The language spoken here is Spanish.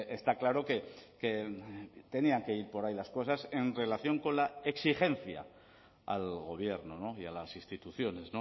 está claro que tenían que ir por ahí las cosas en relación con la exigencia al gobierno y a las instituciones